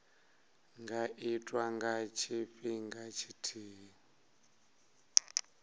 nga itwa nga tshifhinga tshithihi